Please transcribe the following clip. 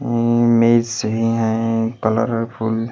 है मै से ही हैं कलर फुल।